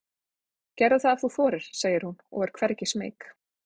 Gerðu það ef þú þorir, segir hún og er hvergi smeyk.